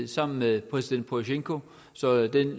sammen med præsident porosjenko så den